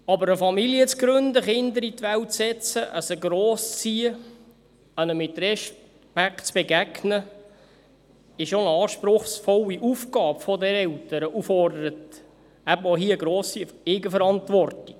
Eine Familie zu gründen, Kinder in die Welt zu setzen, sie grosszuziehen, ihnen mit Respekt zu begegnen, ist aber auch eine anspruchsvolle Aufgabe für Eltern und fordert eine grosse Eigenverantwortung.